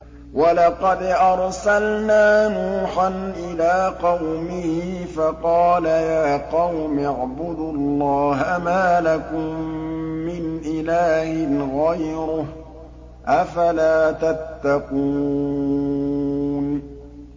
وَلَقَدْ أَرْسَلْنَا نُوحًا إِلَىٰ قَوْمِهِ فَقَالَ يَا قَوْمِ اعْبُدُوا اللَّهَ مَا لَكُم مِّنْ إِلَٰهٍ غَيْرُهُ ۖ أَفَلَا تَتَّقُونَ